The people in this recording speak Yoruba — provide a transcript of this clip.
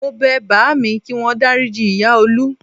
Mo bẹ bàámi kí wọ́n dáríji ìyá Olú